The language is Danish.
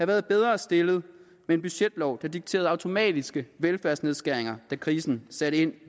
været bedre stillet med en budgetlov der dikterede automatiske velfærdsnedskæringer da krisen satte ind